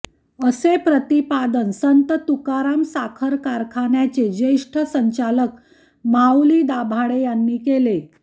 असे प्रतिपादन संत तुकाराम साखर कारखाण्याचे ज्येष्ठ संचालक माऊली दाभाडे यांनी केले